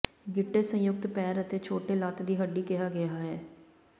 ਗਿੱਟੇ ਸੰਯੁਕਤ ਪੈਰ ਅਤੇ ਛੋਟੇ ਲੱਤ ਦੀ ਹੱਡੀ ਕਿਹਾ ਗਿਆ ਹੈ